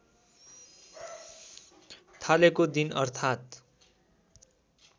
थालेको दिन अर्थात्